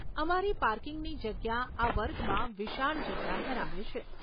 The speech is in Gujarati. અમારી પાર્કિંગની જગ્યા આ વર્ગમાં વિશાળ જગ્યા ધરાવે છે.